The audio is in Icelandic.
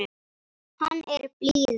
Hann er blíður.